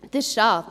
Das ist schade.